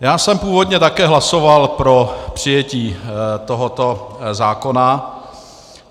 Já jsem původně také hlasoval pro přijetí tohoto zákona.